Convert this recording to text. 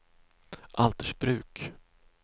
Altersbruk